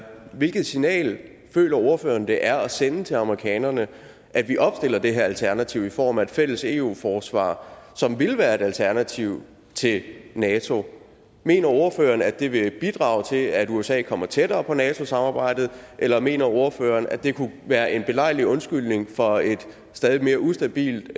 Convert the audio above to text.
hvilket signal føler ordføreren det er at sende til amerikanerne at vi opstiller det her alternativ i form af et fælles eu forsvar som vil være et alternativ til nato mener ordføreren at det vil bidrage til at usa kommer tættere på nato samarbejdet eller mener ordføreren at det kunne være en belejlig undskyldning for en stadig mere ustabil